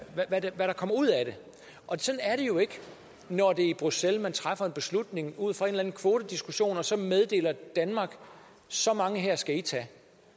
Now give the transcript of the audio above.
der kommer ud af det og sådan er det jo ikke når det er i bruxelles man træffer en beslutning ud fra en eller anden kvotediskussion og så meddeler danmark så mange her skal i tage